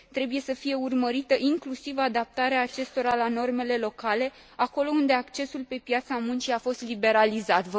Trebuie să fie urmărită inclusiv adaptarea acestora la normele locale, acolo unde accesul pe piața muncii a fost liberalizat.